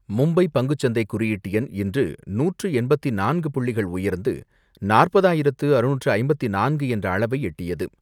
மும்பை பங்குச்சந்தை குறியீட்டெண் இன்று நூற்று எண்பத்து நான்கு புள்ளிகள் உயர்ந்து நாற்பதாயிரத்து அறுநூற்று ஐம்பத்து நான்கு என்ற அளவை எட்டியது.